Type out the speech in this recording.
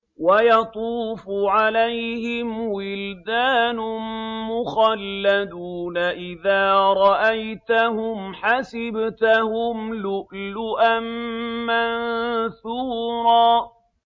۞ وَيَطُوفُ عَلَيْهِمْ وِلْدَانٌ مُّخَلَّدُونَ إِذَا رَأَيْتَهُمْ حَسِبْتَهُمْ لُؤْلُؤًا مَّنثُورًا